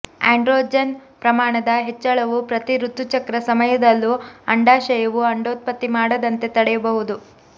androgen ಪ್ರಮಾಣದ ಹೆಚ್ಚಳವು ಪ್ರತಿ ಋತುಚಕ್ರ ಸಮಯದಲ್ಲೂ ಅಂಡಾಶಯವು ಅಂಡೋತ್ಪತ್ತಿ ಮಾಡದಂತೆ ತಡೆಯಬಹುದು